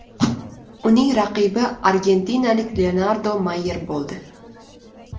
Uning raqibi argentinalik Leonardo Mayer bo‘ldi.